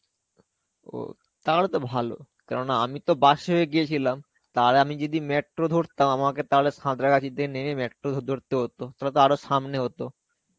ও, তাহলেতো ভালো কেননা আমি তো bus এই গেছিলাম. তাহলে আমি যদি metro ধরতাম আমাকে তাহলে সন্ত্রাগাছিতে নেবে metro ধরতে~ ধরতে হতো. তাহলেতো আরো সামনে হতো.